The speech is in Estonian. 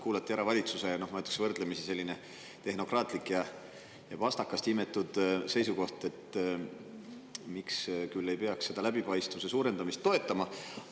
Kuulati ära valitsuse selline, ma ütleksin, võrdlemisi tehnokraatlik ja pastakast imetud seisukoht, miks ei peaks seda läbipaistvuse suurendamist toetama.